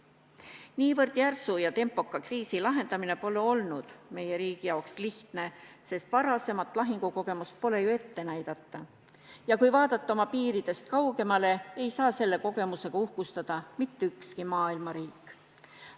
Niivõrd järsu ja tempoka kriisi lahendamine pole olnud meie riigi jaoks lihtne, sest varasemat lahingukogemust pole ju ette näidata, ja kui vaadata oma piiridest kaugemale, ei saa selle kogemusega uhkustada mitte ükski maailma riik.